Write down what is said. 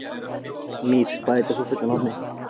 Mír, hvað heitir þú fullu nafni?